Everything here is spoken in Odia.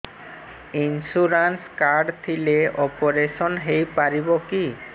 ଇନ୍ସୁରାନ୍ସ କାର୍ଡ ଥିଲେ ଅପେରସନ ହେଇପାରିବ କି